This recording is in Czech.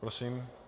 Prosím.